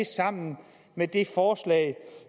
sammen med det forslag